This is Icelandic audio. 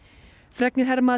fregnir herma að